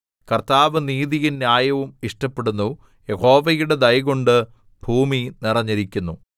കർത്താവ് നീതിയും ന്യായവും ഇഷ്ടപ്പെടുന്നു യഹോവയുടെ ദയകൊണ്ട് ഭൂമി നിറഞ്ഞിരിക്കുന്നു